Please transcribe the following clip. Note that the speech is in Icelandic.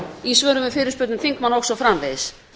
í svörum við fyrirspurnum þingmanna og svo framvegis